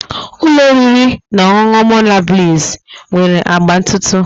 Ụlọ oriri na ọṅụṅụ Monabliss nwere agba ntụ ntụ